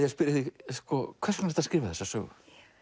að spyrja þig hvers vegna ertu að skrifa þessa sögu